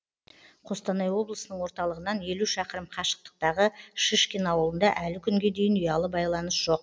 қостанай облысының орталығынан елу шақырым қашықтағы шишкин ауылында әлі күнге дейін ұялы байланыс жоқ